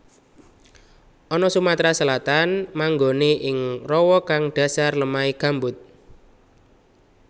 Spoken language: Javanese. Ana Sumatera Selatan manggonè ing rawa kang dhasar lemahè gambut